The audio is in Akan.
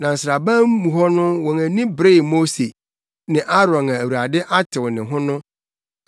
Na nsraban mu hɔ wɔn ani beree Mose ne Aaron a Awurade atew ne ho no.